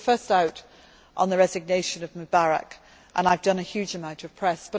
We were the first out on the resignation of Mubarak, and I have done a huge amount of press.